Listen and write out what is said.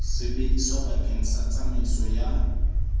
sebediswa bakeng sa tsamaiso ya